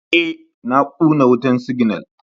Ee, na kuna wutan siginal.